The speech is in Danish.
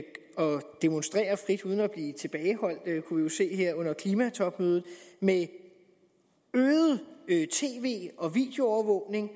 demonstrere frit uden at blive tilbageholdt som vi jo kunne se under klimatopmødet med øget tv og videoovervågning og